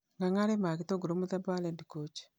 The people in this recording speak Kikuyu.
Ng'ang'a arĩmaga gĩtũngũrũ mũthemba wa Red Coach